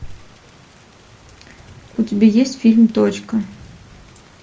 у тебя есть фильм точка